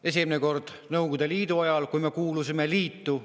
Esimene kord oli Nõukogude Liidu ajal, kui me kuulusime liitu.